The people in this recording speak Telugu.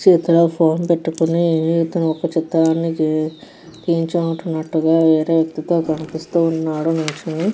చేతిలో ఫోన్ పట్టుకొని ఇతను ఒక చిత్రానికి నిల్చొని ఉన్నటుగా వేరే వ్యక్తితో కనిపిస్తూ ఉన్నాడు నిల్చొని.